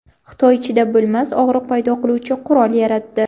Xitoy chidab bo‘lmas og‘riq paydo qiluvchi qurol yaratdi.